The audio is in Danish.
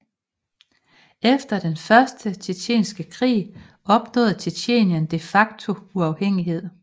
Efter den Første Tjetjenske krig opnåede Tjetjenien de facto uafhængighed